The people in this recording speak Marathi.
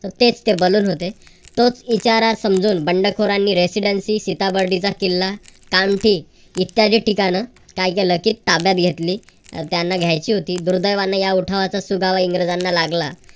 तेच ते बलून होते. तोच इशारा समजून बंडखोरांनी residancy सीता बर्डी चा किल्ला इत्यादि काय केलं कि ठिकाण ताब्यात घेतली. त्यांना घ्यायची होती. दुर्दैवाने या उठावाचा सुगावा इंग्रजांना लागला.